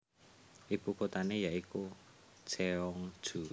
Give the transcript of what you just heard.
Ibukuthane ya iku Cheongju